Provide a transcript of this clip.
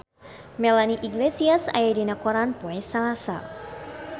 Melanie Iglesias aya dina koran poe Salasa